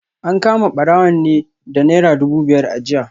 An kama barawon ne da Naira dubu biyar a jiya